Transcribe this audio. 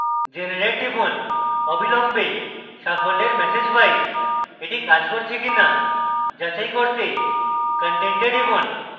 generate টিপুন অবিলম্বে সাফল্যের ম্যাসেজ পাই এটি কাজ করছে কিনা যাচাই করতে content a টিপুন